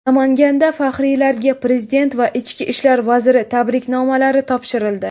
Namanganda faxriylarga Prezident va Ichki ishlar vaziri tabriknomalari topshirildi.